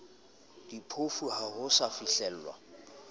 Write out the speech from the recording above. diphofu ha ho sa fihlelwa